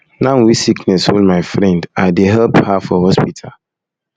now wey sickness hold my friend i dey help her for hospital